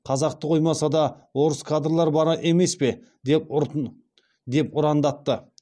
қазақты қоймаса да орыс кадрлар бар емес пе деп ұрандатты